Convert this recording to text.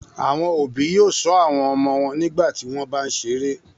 Àwọn òbí yóò ṣọ́ àwọn ọmọ wọn nígbà tí wọ́n bá ń ṣeré.